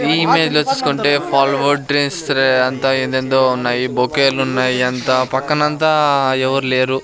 ఈ ఇమేజ్లో చూస్కుంటే ఫాల్వో డ్రెస్రే రే అంతా ఏందేదో ఉన్నాయి బొకేలున్నాయి అంతా ఆ పక్కనంతా ఎవర్ లేరు.